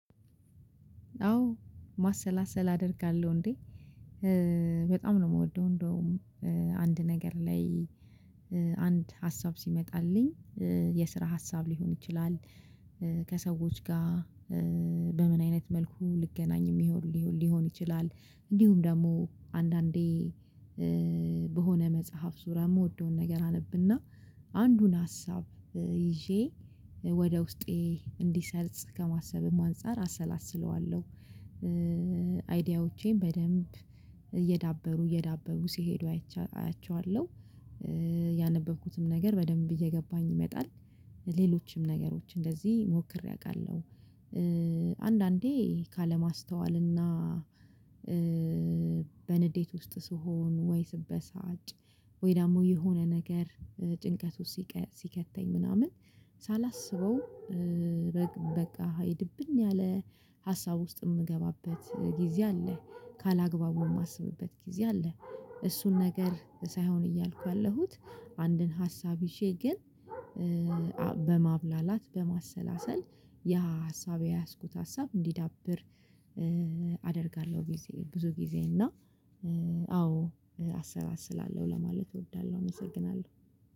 አዎ ማሰላሰል አደርጋለሁ። እንዴ በጣም ነው የምወደው። እንደውም አንድ ነገር ላይ አንድ ሀሳብ ሲመጣልኝ የስራ ሀሳብ ሊሆን ይችላል። ከሰዎች ጋር በምን አይነት መልኩ ልገናኝ የሚሆን ሊሆን ይችላል። እንዲሁም ደግሞ አንዳንዴ በሆነ መጽሐፍ ዙርያ የምወደውን ነገር አነብና አንዱን ሀሳብ ይዤ ወደ ውስጤ እንዲሰርጽ ከማሰብም አንፃር አሰላስለዋለሁ። አይዲያዎቼን በደንብ እየዳበሩ እየዳበሩ ሲሄዱ አያቸዋለሁ። ያነበብኩትም ነገር በደንብ እየገባኝ ይመጣል ሌሎችም ነገሮች እንደዚህ ሞክሬ አውቃለሁ። አንዳንዴ ካለማስተዋልና በንዴት ውስጥ ስሆን ወይ ስበሳጭ ወይ ደግሞ የሆነ ነገር ጭንቀት ውስጥ ሲከተኝ ምናምን ሳላስበው በቃ ሃይ ድብን ያለ ሀሳብ ውስጥ የምገባበት ጊዜ አለ። ካላግባቡ የማስብበት ጊዜ አለ። እሱን ነገር ሳይሆን እያልኩ ያለሁት አንድን ሀሳብ ይዤ ግን በማብላላት በማሰላሰል ያ ሀሳብ የያዝኩት ሀሳብ እንዲዳብር አደርጋለሁ። ጊዜ ብዙ ጊዜ እና አዎ አሰላስላለሁ ለማለት እወዳለሁ። እመሰግናለሁ።